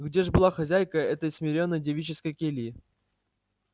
где ж была хозяйка этой смиренной девической кельи